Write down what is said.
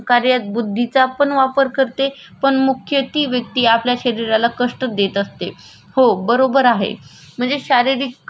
म्हणजे शारीरिक क श्रम म्हणजे आपल्याला सोत्ताला शरीराला होणारी जीज आणि त्याच्यातून केल जाणार काम त्याचा मागे मोबदला बरोबर आहे.